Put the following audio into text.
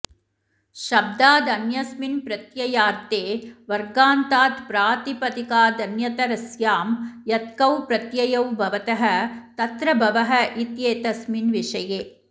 शब्दादन्यस्मिन् प्रत्ययार्थे वर्गान्तात् प्रातिपदिकादन्यतरस्यां यत्खौ प्रत्ययौ भवतः तत्र भवः इत्येतस्मिन् विषये